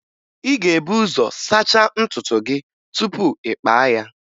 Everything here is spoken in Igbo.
Ị ga-ebu ụzọ sachaa ntutu isi gị tupu ị kpaa ya